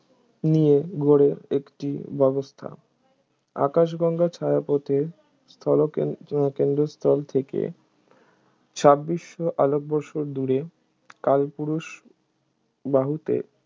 নিয়ে গড়ে একটি ব্যবস্থা আকাশগঙ্গা ছায়াপথে স্থল কে~ কেন্দ্রস্থল থেকে ছাব্বিশশো আলোকবর্ষ দূরে কালপুরুষ বাহুতে